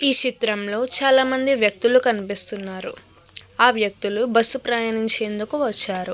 ఈ శిత్రంలో చాలా మంది వ్యక్తులు కనిపిస్తున్నారు. ఆ వ్యక్తులు బస్సు ప్రయాణించేందుకు వచ్చారు.